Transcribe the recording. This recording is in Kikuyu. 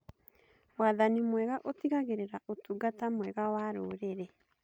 Wathani mwega ũtigagĩrĩra ũtungata mwega wa rũrĩrĩ.